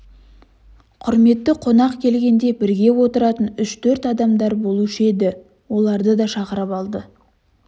құрметті қонақ келгенде бірге отыратын үш-төрт адамдары болушы еді оларды да шақырып алды